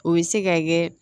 O bɛ se ka kɛ